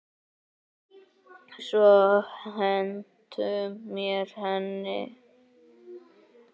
Svo hentu þeir henni.